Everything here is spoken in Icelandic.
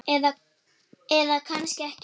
Eða kannski ekki.